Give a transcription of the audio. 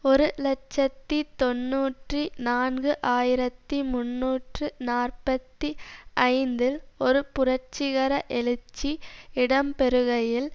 ஒரு இலட்சத்தி தொன்னூற்றி நான்கு ஆயிரத்தி முன்னூற்று நாற்பத்தி ஐந்தில் ஒரு புரட்சிகர எழுச்சி இடம்பெறுகையில்